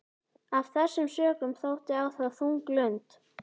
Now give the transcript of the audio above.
Af þessum sökum sótti á þá þung lund.